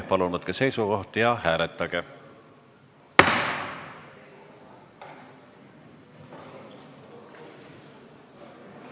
Palun võtke seisukoht ja hääletage!